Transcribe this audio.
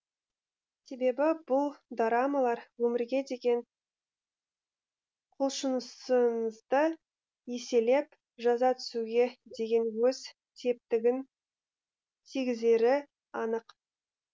себебі бұл дорамалар өмірге деген құлшынысыңызды еселеп жаза түсуге деген өз септігін тигізері анық